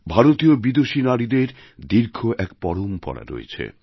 ভারতীয় বিদূষী নারীদের দীর্ঘ এক পরম্পরা রয়েছে